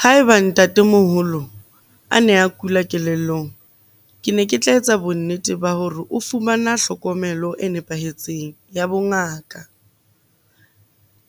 Ha eba ntatemoholo a ne a kula kelellong, ke ne ke tla etsa bonnete ba hore o fumana hlokomelo e nepahetseng ya bongaka,